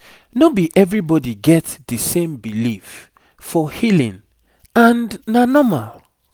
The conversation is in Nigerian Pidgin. no be everybody get the same belief for healing and na normal